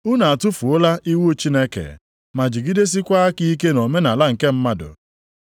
Unu atụfuola iwu Chineke ma jidesiekwa aka ike nʼomenaala nke mmadụ.”